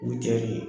U cɛ de